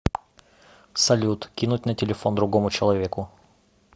салют кинуть на телефон другому человеку